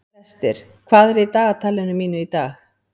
Brestir, hvað er í dagatalinu mínu í dag?